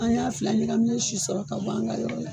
An y'a fila ɲagaminne sɔrɔ ka bɔ an ka yɔrɔ la ye